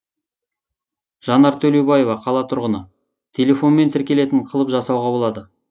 жанар төлеубаева қала тұрғыны телефонмен тіркелетін қылып жасауға болады